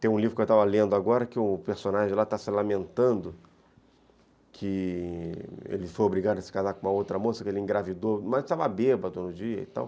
Tem um livro que eu estava lendo agora que o personagem lá está se lamentando que ele foi obrigado a se casar com uma outra moça, que ele engravidou, mas estava bêbado no dia e tal.